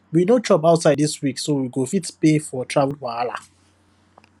we no chop outside this week so we we go fit pay for travel wahala